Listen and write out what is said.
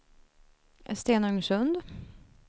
Stenungsund